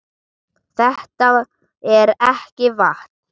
Þetta er ekki vatn!